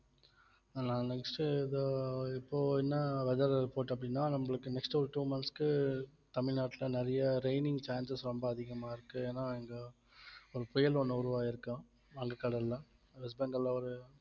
ஆனா next உ இதோ இப்போ என்ன weather report அப்படின்னா நம்மளுக்கு next ஒரு two months க்கு தமிழ்நாட்டுல நிறைய raining chances ரொம்ப அதிகமா இருக்கு ஏன்னா இங்க ஒரு புயல் ஒண்ணு உருவாகியிருக்காம் கடல்ல west bengal ல ஒரு